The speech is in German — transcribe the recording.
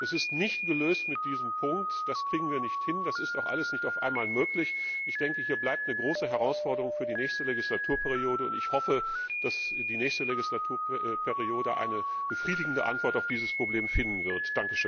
Das ist nicht gelöst mit diesem Punkt, das kriegen wir nicht hin, das ist auch alles nicht auf einmal möglich. Ich denke, hier bleibt eine große Herausforderung für die nächste Legislaturperiode. Ich hoffe, dass wir in der nächsten Legislaturperiode eine befriedigende Antwort auf dieses Problem finden werden.